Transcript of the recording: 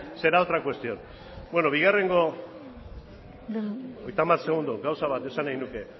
será otra cuestión hogeita hamar segundu gauza bat esan nahi nuke